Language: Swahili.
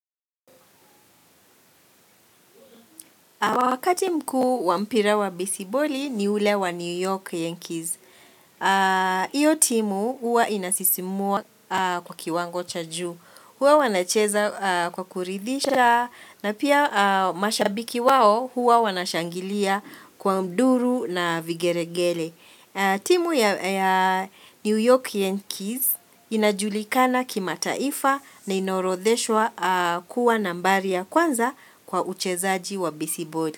Wakati mkuu wa mpira wa besiboli ni ule wa New York Yankees. Iyo timu huwa inasisimua kwa kiwango cha juu. Huwa wanacheza kwa kuridhisha na pia mashabiki wao huwa wanashangilia kwa duru na vigeregele. Timu ya ya New York Yankees inajulikana kimataifa na inaorodheshwa kuwa nambari ya kwanza kwa uchezaji wa besiboli.